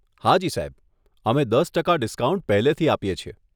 હાજી સાહેબ. અમે દસ ટકા ડિસ્કાઉન્ટ પહેલેથી આપીએ છીએ.